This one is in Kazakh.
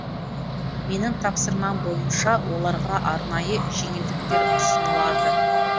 менің тапсырмам бойынша оларға арнайы жеңілдіктер ұсынылады